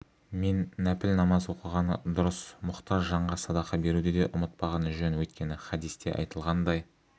мен нәпіл намаз оқығаны дұрыс мұқтаж жанға садақа беруді де ұмытпағаны жөн өйткені хадисте айтылғандай